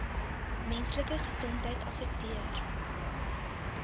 menslike gesondheid affekteer